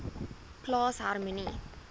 plaas harmonie